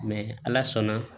ala sɔnna